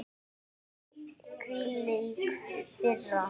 Hvílík firra.